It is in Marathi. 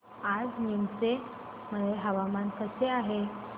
आज नीमच मध्ये हवामान कसे आहे